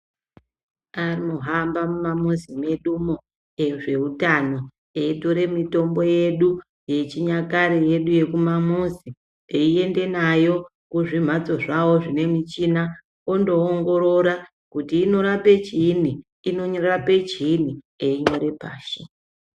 Anohamba mumamuzi mwedumwo ezveutano eitore mitombo yedu yechinyakare yedu yekumamuzi, eienda nayo kuzvimhatso zvavo zvine michina ondoongorora kuti inorape chiinyi inorape chiinyi einyore pashi.